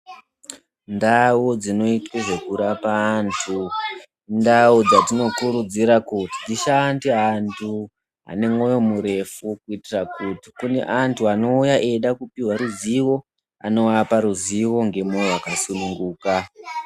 Ndau dzinoitwe zvekurapa anthu, indau dzatinokurudza kuti dzishande anthu anemwoyo murefu kuitira kuti kune anthu anouya eida kupiwa ruzivo anoapa ruzivo ngemwoyo wakasununguka.